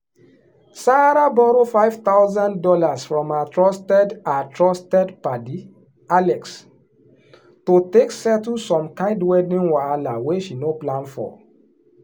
sarah borrow five thousand dollars from her trusted her trusted padi alex to take settle some kind wedding wahala wey she no plan for.